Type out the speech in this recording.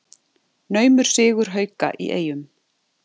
Naumur sigur Hauka í Eyjum